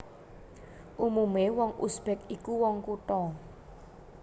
Umumé wong Uzbek iku wong kutha